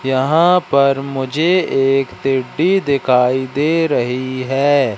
यहां पर मुझे एक पेड्डी दिखाई दे रही हैं।